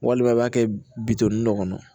Walima a b'a kɛ bitɔn dɔ kɔnɔ